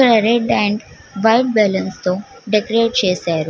Red and white balloons తో decorate చేసారు.